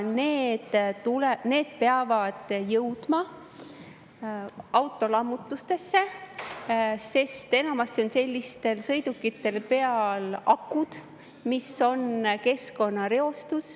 Need peavad jõudma autolammutusse, sest enamasti on sellistel sõidukitel peal akud, mis reostavad keskkonda.